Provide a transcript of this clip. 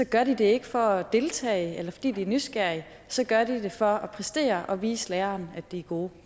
gør de det ikke for at deltage eller fordi de er nysgerrige så gør de det for at præstere og vise læreren at de er gode